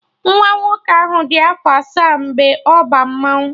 Nwa nwoke ahụ dị afọ asaa mgbe ọ ba mmanwụ